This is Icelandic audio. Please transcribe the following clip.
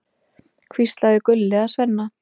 hvíslaði Gulli að Svenna.